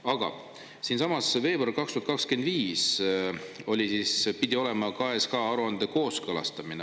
Aga siinsamas veebruar 2025 oli siis, pidi olema KSH-aruande kooskõlastamine.